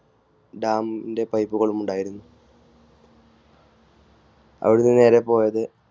Dam ന്റെ പൈപ്പുകളുമുണ്ടായിരുന്നു. അവിടെ നിന്നും നേരെ പോയത്